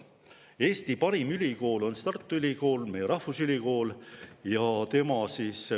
Eesti parim ülikool on Tartu Ülikool, meie rahvusülikool.